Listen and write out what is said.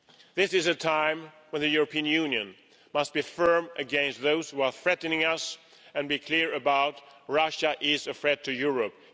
This is a time when the European Union must be firm against those who are threatening us and be clear about the fact that Russia is a threat to Europe.